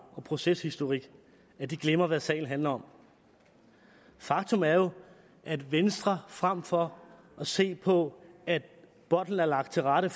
og proceshistorik at de glemmer hvad sagen handler om faktum er jo at venstre frem for at se på at bolden er lagt til rette